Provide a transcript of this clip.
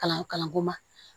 Kalan kalanko ma